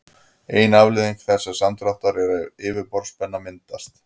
ein afleiðing þessa samdráttar er að yfirborðsspenna myndast